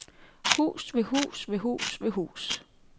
Hus ved hus ved hus ved hus.